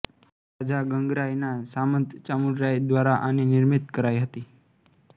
રાજા ગંગરાય ના સામંત ચામુંડરાય દ્વારા આની નિર્મિતી કરાઈ હતી